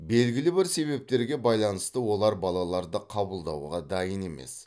белгілі бір себептерге байланысты олар балаларды қабылдауға дайын емес